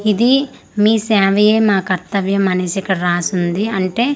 ఇది మీ సేవాయే మా కర్తవ్యం అనేసి ఇక్కడ రాసి ఉంది అంటే మీ సే--